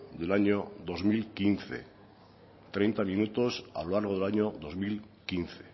del año dos mil quince treinta minutos a lo largo del año dos mil quince